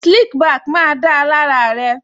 Slick back má da lára rẹ